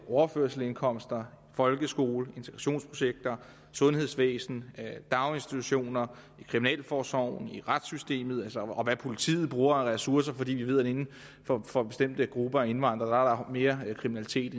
overførselsindkomster folkeskole integrationsprojekter sundhedsvæsen daginstitutioner kriminalforsorgen retssystemet og hvad politiet bruger af ressourcer for vi ved at der inden for bestemte grupper af indvandrere er mere kriminalitet